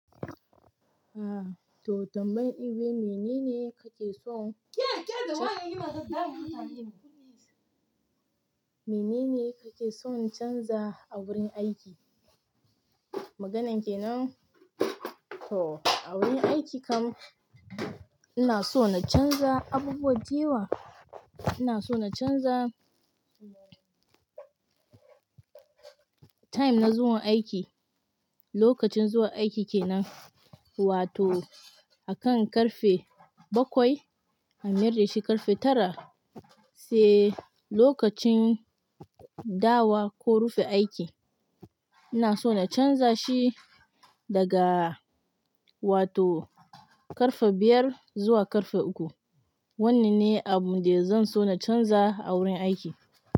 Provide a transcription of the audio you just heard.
Aah, to tambayar iwe menene kake so menene kake son canza a wurin aiki? Maganan kenan, to a wurin aiki kam ina so na canza abubuwa da yawa. Ina so na canza time na zuwa aiki, lokacin zuwa aiki kenan. Wato akan ƙarfe bakwai a miyar da shi ƙarfe tara sai lokacin dawawo ko rufe aiki. Ina so na canza shi daga wato ƙarfe biyar zuwa ƙarfe uku. Wannan ne abun da zan so na canza a wurin aiki.